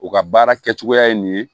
U ka baara kɛcogoya ye nin ye